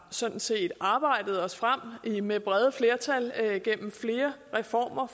sådan set har arbejdet os frem til med brede flertal gennem flere reformer